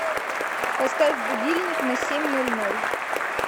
поставь будильник на семь ноль ноль